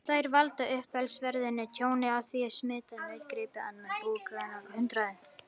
Þær valda umtalsverðu tjóni með því að smita nautgripi og annan búpening af hundaæði.